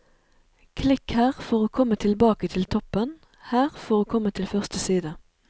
Klikk her for å komme tilbake til toppen, her for å komme til første side.